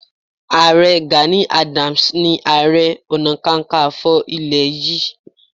Ààrẹ Gani Adams ni Ààrẹ Ọ̀nàkakanfò ilẹ̀ Y